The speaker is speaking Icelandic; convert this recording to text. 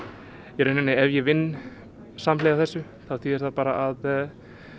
í rauninni ef ég vinn samhliða þessu þá þýðir það að